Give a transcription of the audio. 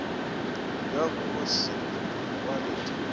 ya go se kwale di